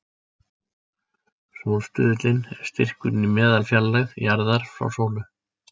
Sólstuðullinn er styrkurinn í meðalfjarlægð jarðar frá sólu.